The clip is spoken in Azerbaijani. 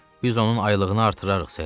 Biz onun aylığını artırarıq, ser.